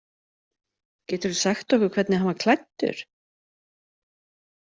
Geturðu sagt okkur hvernig hann var klæddur?